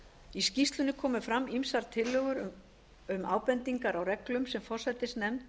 í skýrslunni komu fram ýmsar tillögur um ábendingar á reglum sem forsætisnefnd